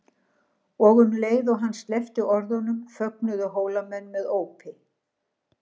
Og um leið og hann sleppti orðinu fögnuðu Hólamenn með ópi.